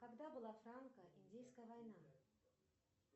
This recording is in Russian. когда была франко индейская война